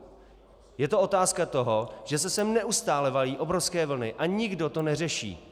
Je to otázka toho, že se sem neustále valí obrovské vlny a nikdo to neřeší.